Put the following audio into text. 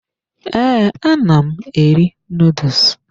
Ee, ana m eri noodles.